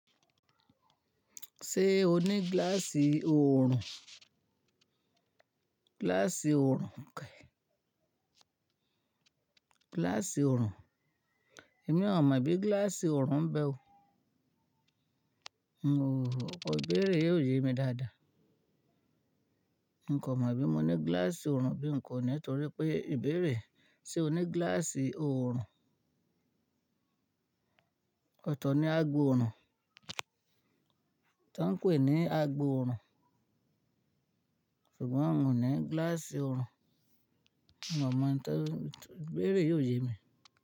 Ṣé o ní gíláàsì oòrùn? Gíláàsì oòrùn kẹ̀. Gíláàsì oòrùn. Èmi ò mọ̀ bí gíláàsì oòrùn ń bẹ o. N ò, ọkọ̀ ìbéèrè yìí ò yé mi dáadáa. N kò mọ bí mo ní gíláàsì oòrùn bí n kò ní nítorí pé ìbéèrè "ṣé o ní gíláàsì oòrùn?" ọ̀tọ̀ ni àgboòrùn, tánpẹ̀ ni àgboòrùn ṣùgbọ́n mò ní gíláàsì oòrùn. N ò mọ̀ ẹ́ni tó, ìbéèrè yìí ò yé mi.